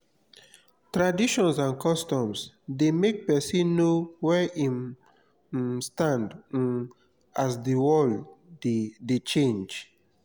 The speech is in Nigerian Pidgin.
traditions and customs de make persin know where im um stand um as di world de de change